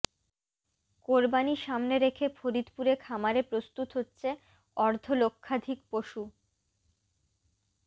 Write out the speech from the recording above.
কোরবানি সামনে রেখে ফরিদপুরে খামারে প্রস্তুত হচ্ছে অর্ধলক্ষাধিক পশু